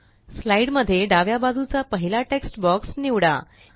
slide मध्ये डाव्या बाजूचा पहिला टेक्स्ट बॉक्स निवडा